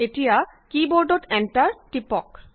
এতিয়া কী বৰ্ডত এণ্টাৰ টিপক